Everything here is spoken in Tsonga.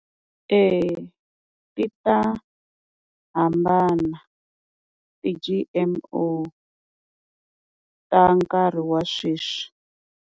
Eya ti ta hambana ti-G_M_O ta nkarhi wa sweswi.